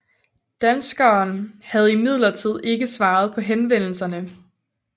Danskeren havde imidlertid ikke svaret på henvendelserne